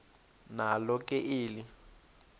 nalo ke eli